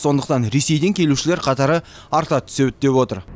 сондықтан ресейден келушілер қатары арта түседі деп отыр